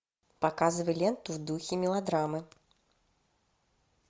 показывай ленту в духе мелодрамы